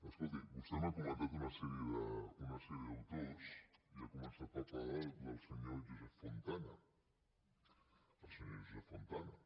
escolti vostè m’ha comentat una sèrie d’autors i ha començat per parlar del senyor josep fontana el senyor josep fontana